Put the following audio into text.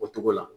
O cogo la